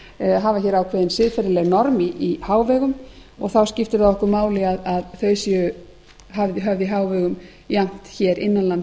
vill hafa hér ákveðin siðferðileg norm í hávegum og þá skiptir það okkur máli að þau séu höfð í hávegum jafnt hér innan lands